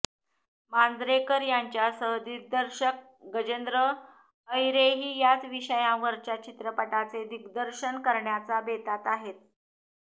मांजरेकर यांच्यासह दिग्दर्शक गजेंद्र अहिरेही याच विषयावरच्या चित्रपटाचे दिग्दर्शन करण्याचा बेतात आहे